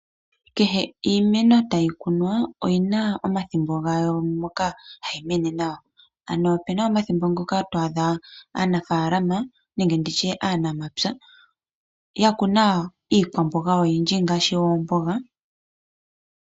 Kehe iimeno tayi kunwa oyina omathimbo gayo moka hayi mene nawa ano opena omathimbo ngoka twaadha aanafalama nenge aanamapya ya kuna iikwambonga yawo oyindji ngaashi oombonga.